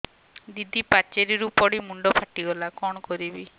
ଦିଦି ପାଚେରୀରୁ ପଡି ମୁଣ୍ଡ ଫାଟିଗଲା କଣ କରିବି